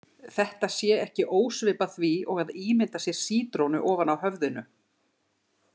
Þetta sé ekki ósvipað því og að ímynda sér sítrónu ofan á höfðinu.